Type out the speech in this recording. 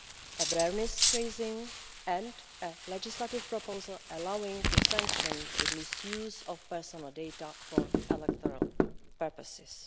awareness-raising and a legislative proposal allowing to sanction the misuse of personal data for electoral purposes.